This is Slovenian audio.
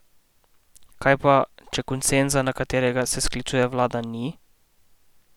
Kaj pa, če konsenza, na katerega se sklicuje vlada, ni?